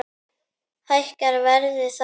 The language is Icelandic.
Hækkar verðið þá?